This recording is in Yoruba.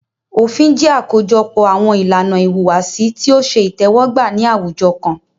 Òfin jẹ́ àkójọpọ̀ àwọn ìlànà ìhùwàsí tí o ṣe itẹ́wọ́gbà ní àwùjọ kan.